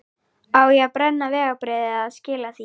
Á ég að brenna vegabréfið eða skila því?